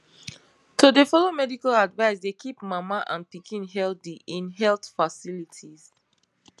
to dey follow medical advice dey keep mama and pikin healthy in health facilities